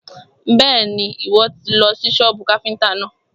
Bẹ́ẹ̀ni, Ìwọ́ tì lọ sí sọ́bù káfíntà náà.